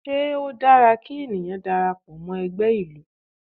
Ṣé ó dára kí ènìyàn darapọ̀ mọ́ ẹgbẹ́ ìlú?